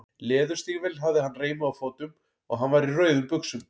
Leðurstígvél hafði hann reimuð á fótum og hann var í rauðum buxum.